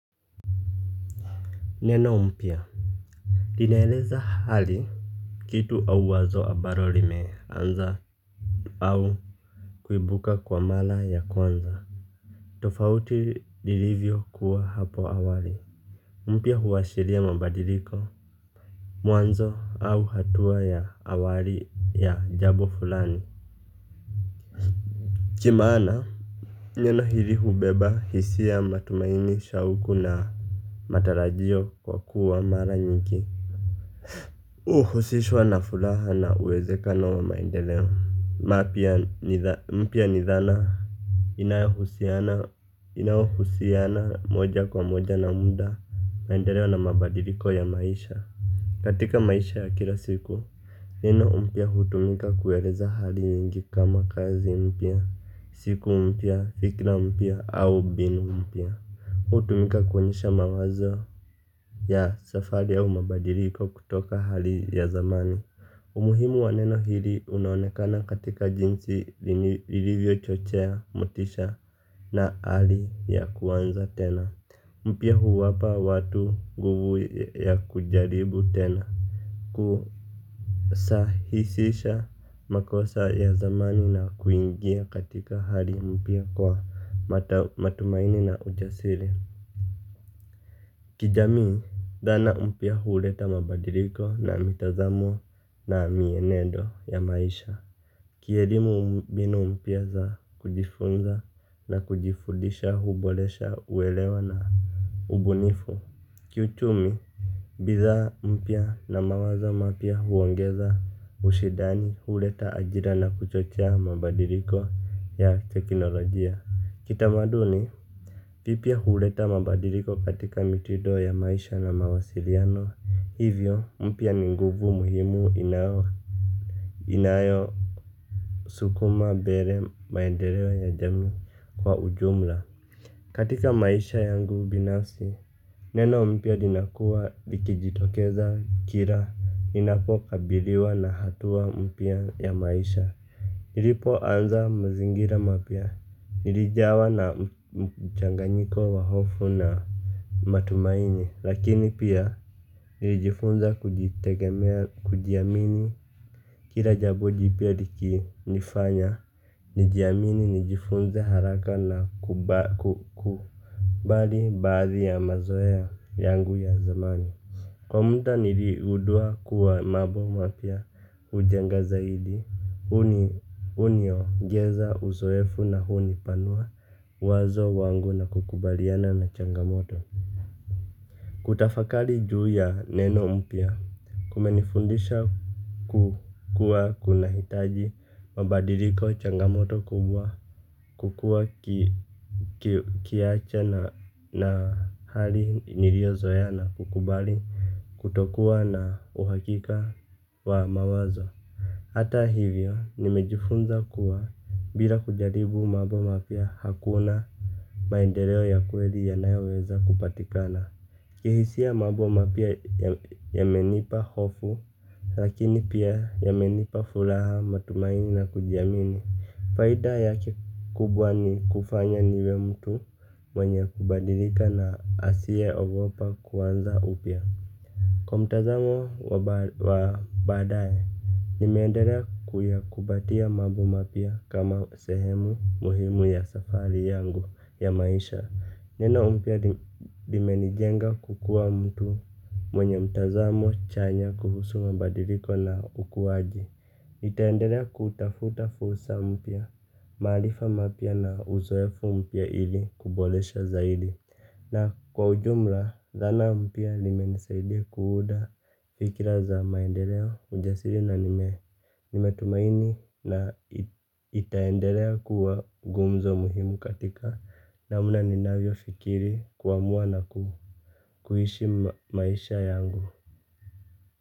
Neno mpya linaeleza hali. Kitu au wazo ambalo limeanza. Au kuibuka kwa mara ya kwanza. Tofauti ilivyo kuwa hapo awali. Mpya huwashiria mabadiliko mwanzo au hatua ya awali ya jambo fulani. Cha maana neno hili hubeba hisia ya matumaini shauku na matarajio kwa kuwa mara nyingi uhusishwa na furaha na uwezekano wa maendeleo. Mapia mpia nithana. Inahusiana moja kwa moja na munda. Maendeleo na mabadiliko ya maisha. Katika maisha ya kila siku. Neno mpia hutumika kuweleza hali nyingi kama kazi mpia. Siku mpia, fikra mpia au binu mpia. Hutumika kuwonyesha mawazo ya safari au mabadiliko kutoka hali ya zamani. Umuhimu waneno hili unaonekana katika jinsi lilivyo chochea, motisha na hali ya kuanza tena. Mpia huwapa watu nguvu ya kujaribu tena. Kusahisisha makosa ya zamani na kuingia katika hali mpia kwa matumaini na ujasiri. Kijami dhan mpia huleta mabadiliko na mitazamo na mienendo ya maisha. Kierimu mbinu mpia za kujifunza na kujifudisha hubolesha uelewa na ubunifu. Kiuchumi. Bidha mpia na mawazo mapia huongeza ushidani hureta ajira na kuchochea mabadiliko ya teknolojia kitamaduni vipia hureta mabadiliko katika mitido ya maisha na mawasiriano hivyo mpia ni nguvu muhimu inayo Inayo Sukuma bere maenderewo ya jami kwa ujumla. Katika maisha yangu binafsi. Neno mpia linakuwa likijitokeza kira inapokabiliwa na hatua mpia ya maisha. Nilipo anza mzingira mapia. Nilijawa na mchanganyiko wa hofu na matumaini. Lakini pia nilijifunza kujitegemea kujiamini. Kira jabo jipia likinifanya nijiamini nijifunze haraka na kubali bari ya mazoea yangu ya zamani. Kwa muda niligundua kuwa mambo mapya hujenga zaidi huniongenza uzoefu na hunipanua uwezo wangu na kukabiliana na changamoto. Kutafakari juu ya neno mpya. Kumenifundisha kuwa kunahitaji mabadiliko changamoto kubwa. Kukuwa kiache na hali niliyozoea na kukubali kutokuwa na uhakika wa mawazo. Hata hivyo nimejifunza kuwa bila kujaribu mambo mapya hakuna maendeleo ya kweli yanayoweza kupatikana. Kihisia mambo mapya yamenipa hofu lakini pia yaminipa furaha matumaini na kujiamini faida yake kubwa ni hunifanya ni mtu mwenye kubadilika na asiyeogopa kuanza upywa kwa mtazamo wa baadaye. Nimeendelea kuyakumbatia mambo mapya kama sehemu muhimu ya safari yangu ya maisha. Neno mpya limenijenga kukuwa mtu mwenye mtazamo chanya kuhusu mabadiliko na ukuaji nitaendelea kutafuta fursa mpia, marifa mapya na uzoefu mpya ili kuboresha zaidi. Na kwa ujumla, zana mpya limenesaidia kuunda fikira za maendeleo ujasiri na nimetumaini na itaendelea kuwa gumzo muhimu katika namna ninavyofikiri kuamua na kuishi maisha yangu.